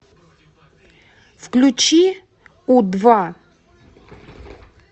включи у два